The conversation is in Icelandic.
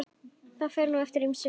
Það fer nú eftir ýmsu.